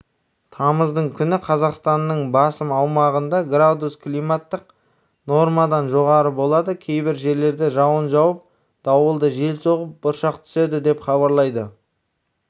тамыздың күні қазақстанның басым аумағында градус климаттық нормадан жоғары болады кейбір жерлерде жауын жауып дауылды жел соғып бұршақ түседі деп хабарлайды